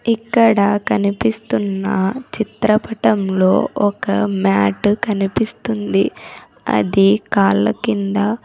ఇక్కడ కనిపిస్తున్న చిత్రపటంలో ఒక మ్యాట్ కనిపిస్తుంది అది కాళ్ళ కింద--